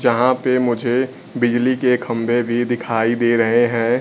जहां पे मुझे बिजली के खंभे भी दिखाई दे रहे हैं।